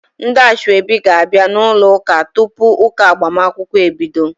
Ndị asoebi ga-abia n'ụlọ ụka tupu ụka agbamakwụkwọ ebido.